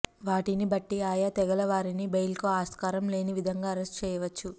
వాటిని బట్టి ఆయా తెగల వారిని బెయిల్కు ఆస్కారం లేని విధంగా అరెస్టు చేయవచ్చు